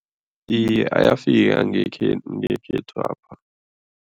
Iye, ayafika ngekhethwapha.